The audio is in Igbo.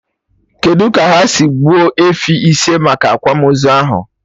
Kedụ ka ha si gbuo efi ise maka akwamozu ahụ?